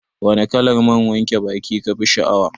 Wane kalar man wanke baki kafi sha'awa?